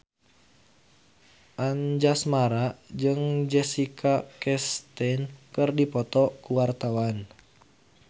Anjasmara jeung Jessica Chastain keur dipoto ku wartawan